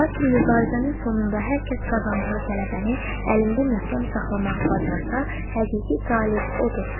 Lakin mübarizənin sonunda hər kəs qazandığı qələbəni əlində möhkəm saxlamağı bacarsa, həqiqi qalib odur.